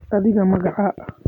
Adhiga magaca?